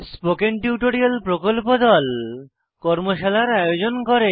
spoken tutorial প্রকল্প দল কর্মশালার আয়োজন করে